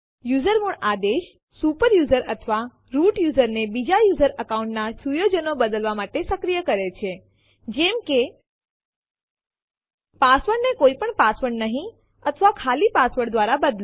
usermod આદેશ super user અથવા root user ને બીજા યુઝર અકાઉન્ટ ના સુયોજનો બદલવા માટે સક્રિય કરે છે જેમ કે પાસવર્ડને કોઈ પણ પાસવર્ડ નહી અથવા ખાલી પાસવર્ડ ધ્વારા બદલો